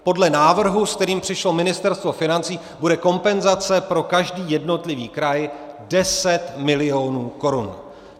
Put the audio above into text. Podle návrhu, se kterým přišlo Ministerstvo financí, bude kompenzace pro každý jednotlivý kraj 10 milionů korun.